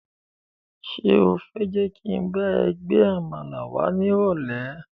Ṣé o fẹ́ jẹ́ kí n bá ẹ gba àmàlà wá ni irole?